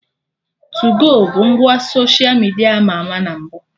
Tuu-go bụ ngwa soshia midia ama ama na mbụ